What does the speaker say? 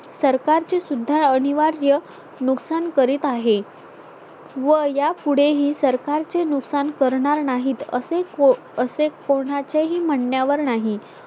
सरकारचे सुद्धा अनिवार्य नुकसान करीत आहे व यापुढे ही सरकार चे नुकसान करणार नाहीत असे असे कोणाचेही म्हणण्यावर नाही